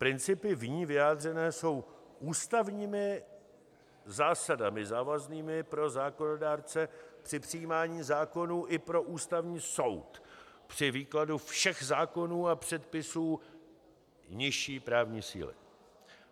Principy v ní vyjádřené jsou ústavními zásadami závaznými pro zákonodárce při přijímání zákonů i pro Ústavní soud při výkladu všech zákonů a předpisů nižší právní síly.